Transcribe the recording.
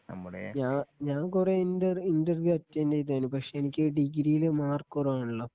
ഞാ ഞാൻ കുറെ ഇന്റർ ഇന്റർവ്യൂ അറ്റൻറ്റ് ചെയ്താണ് പക്ഷെ എനിക്ക് ഡിഗ്രിയിൽ മാർക്ക് കുറവാണല്ലോ